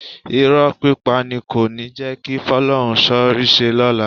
Irọ́ pípa ni kò ní jẹ́ kí Fọ́lọ́runṣọ́ ríṣẹ́ lọ́la